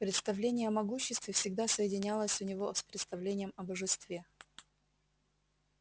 представление о могуществе всегда соединялось у него с представлением о божестве